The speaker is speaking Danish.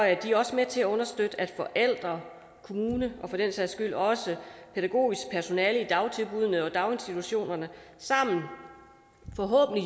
er de også med til at understøtte at forældre kommune og for den sags skyld også pædagogisk personale i dagtilbuddene og daginstitutionerne sammen